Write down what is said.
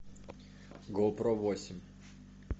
гоу про восемь